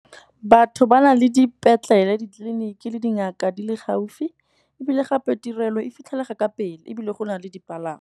Batho ba na le dipetlele, ditleliniki le dingaka di le gaufi, ebile gape tirelo e fitlhelega ka pele ebile go na le dipalangwa.